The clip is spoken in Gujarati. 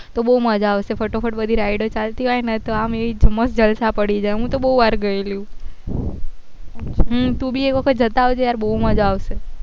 તો બહુ મજા આવશે ફાટફાટ બધી rides ચાલતી હોય ને તો આમ ધુમ્મસ જલસા પડી જાય હું તો બહુ વાર ગયેલી હું હ તું બી એક વાર જતા આવજે બહુ મજા આવશે